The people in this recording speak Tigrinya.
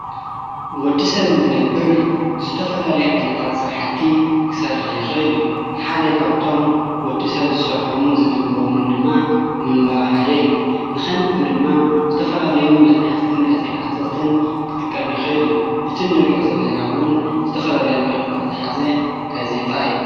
ወዲ ሰብ እንቲ ነብር ዝተፈላለይ ዓይነታት ሥርሓቲ ኽሠርሒ ይኽእል እዩ ሓደይ ካብቶም ወዲ ሰብ ዝሠርሖሙን ዝትግሮሙን ድማ ምንባ ሓደ እዩ ንኸንቢሩ ድማ ዝተፈላለዩ መጽሕፍትን ጋዜጣትትን ክጥቀሚ ይኽእል እዩ እቲ ንርእኦ ዘለናውን ዝተፈላለዩ መልእኽታ ዝሓዘ ጋዜጣ እዩ::